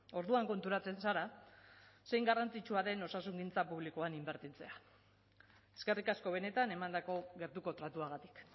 orduan konturatzen zara zein garrantzitsua den osasungintza publikoan inbertitzea eskerrik asko benetan emandako gertuko tratuagatik